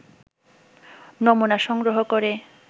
নমুনা সংগ্রহ করে